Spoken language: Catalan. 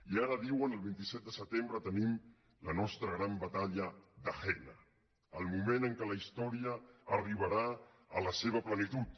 i ara diuen el vint set de setembre te·nim la nostra gran batalla de jena el moment en què la història arribarà a la seva plenitud